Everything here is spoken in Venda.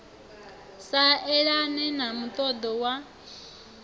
sa elane na muṱoḓo wa